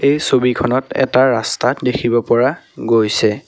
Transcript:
এই ছবিখনত এটা ৰাস্তা দেখিব পৰা গৈছে।